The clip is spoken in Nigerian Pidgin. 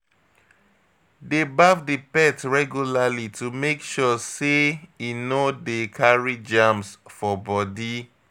Dey baff di pet regularly to make sure sey e no dey carry germs for body